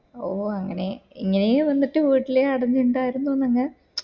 ഓഹ് അങ്ങനെ എങ്ങനെ നിന്നിട്ട് പോയിട്ടില്ല അത് കൊണ്ടായിരുന്നു ഞങ്ങൾ